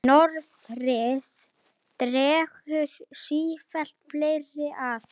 Það er miklu betra mamma!